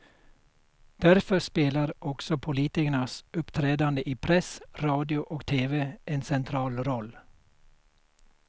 Därför spelar också politikernas uppträdande i press, radio och tv en central roll.